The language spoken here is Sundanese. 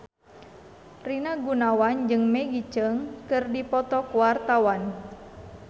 Rina Gunawan jeung Maggie Cheung keur dipoto ku wartawan